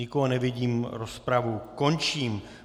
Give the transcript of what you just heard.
Nikoho nevidím, rozpravu končím.